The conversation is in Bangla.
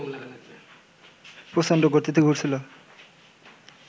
প্রচণ্ড গতিতে ঘুরছিল